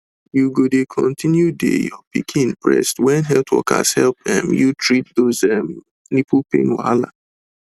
you go dey continue dey your pikin breast when health workers help um you treat those um nipple pain wahala